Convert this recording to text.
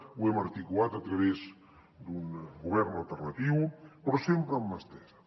ho hem articulat a través d’un govern alternatiu però sempre amb mà estesa